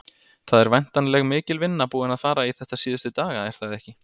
Það er væntanleg mikil vinna búin að fara í þetta síðustu daga, er það ekki?